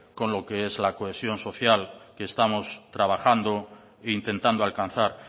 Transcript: con lo que es la cohesión social que estamos trabajando e intentando alcanzar